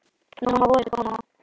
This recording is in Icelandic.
Nú má vorið koma.